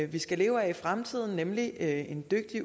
vi skal leve af i fremtiden nemlig en dygtig